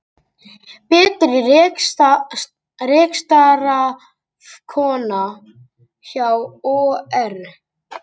Betri rekstrarafkoma hjá OR